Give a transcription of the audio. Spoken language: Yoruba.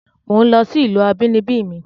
Mò ń lọ sí ìlú abínibí mi